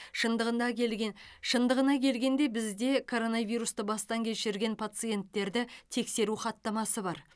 шындығына келген шындығына келгенде бізде коронавирусты бастан кешірген паценттерді тексеру хаттама бар